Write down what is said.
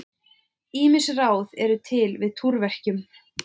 Ýmis ráð eru til við túrverkjum.